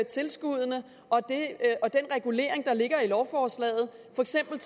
tilskuddene og den regulering der ligger i lovforslaget for eksempel